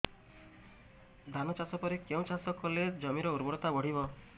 ଧାନ ଚାଷ ପରେ କେଉଁ ଚାଷ କଲେ ଜମିର ଉର୍ବରତା ବଢିବ